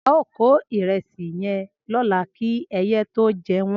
Ao ko iresi yen lola ki eye to je won